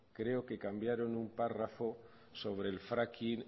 creo que cambiaron un párrafo sobre el fracking